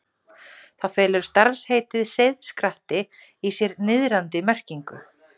Þá felur starfsheitið seiðskratti í sér niðrandi merkingu.